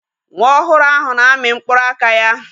Nwa ohuru ahu na-amị mkpụrụ aka ya.